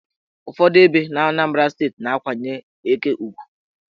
Ụfọdụ ebe n' Anambra steeti na-akwanyere eke ugwu.